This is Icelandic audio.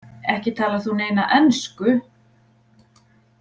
Ekki talar þú neina ensku